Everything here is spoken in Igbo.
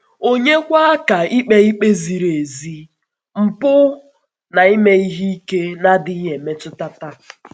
Ònyekwà ka ikpe na-ezighị ezi, mpụ, na ime ihe ike na-adịghị na-adịghị emetụta taa?